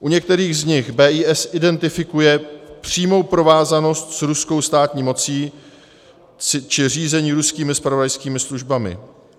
U některých z nich BIS identifikuje přímou provázanost s ruskou státní mocí či řízení ruskými zpravodajskými službami.